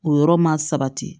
O yɔrɔ ma sabati